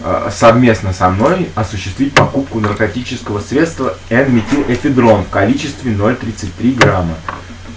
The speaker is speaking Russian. аа совместно со мной осуществить покупку наркотического средства эн-метилэфедрон в количестве ноль тридцать три грамма